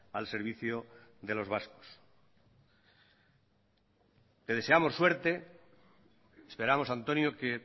al servicio de los vascos te deseamos suerte esperamos antonio que